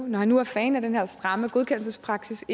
når han nu er fan af den her stramme godkendelsespraksis